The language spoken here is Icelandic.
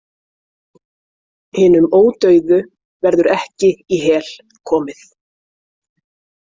Hinum ódauðu verður ekki í Hel komið.